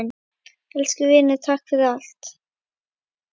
Elsku vinur, takk fyrir allt.